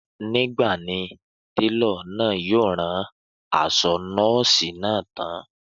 Nígbà ni télọ̀ náà yóò rán aṣọ nọ́ọ̀sì náà tán